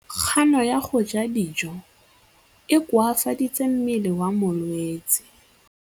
Kganô ya go ja dijo e koafaditse mmele wa molwetse.